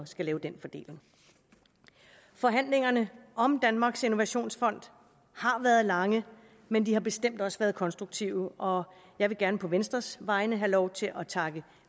skal lave den fordeling forhandlingerne om danmarks innovationsfond har været lange men de har bestemt også været konstruktive og jeg vil gerne på venstres vegne have lov til at takke